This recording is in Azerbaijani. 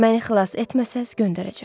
Məni xilas etməsəz, göndərəcəm.